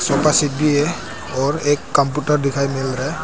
भी है और एक कंप्यूटर दिखाई मिल रहा है।